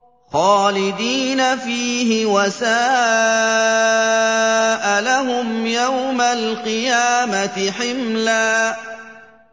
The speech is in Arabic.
خَالِدِينَ فِيهِ ۖ وَسَاءَ لَهُمْ يَوْمَ الْقِيَامَةِ حِمْلًا